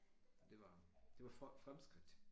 Det var det var fremskridt